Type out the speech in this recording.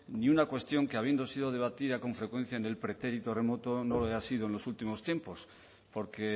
ni una cuestión que habiendo sido debatida con frecuencia en el pretérito remoto no lo haya sido en los últimos tiempos porque